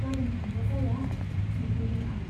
गाबोन थांब्ला जाया ? सेंफिनदों आं।